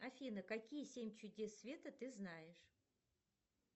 афина какие семь чудес света ты знаешь